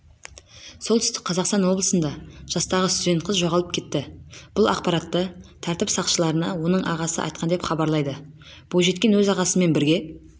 солтүстік қазақстан облысында жастағы студент қыз жоғалып кетті бұл ақпаратты тәртіп сақшыларына оның ағасы айтқан деп хабарлайды бойжеткен өз ағасымен бірге